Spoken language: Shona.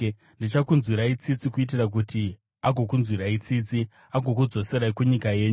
Ndichakunzwirai tsitsi kuitira kuti agokunzwirai tsitsi, agokudzoserai kunyika yenyu.’